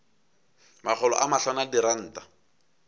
makgolo a mahlano a diranta